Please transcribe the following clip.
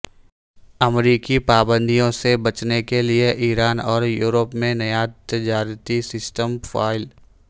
امریکی پابندیوں سے بچنے کے لیے ایران اور یورپ میں نیا تجارتی سسٹم فعال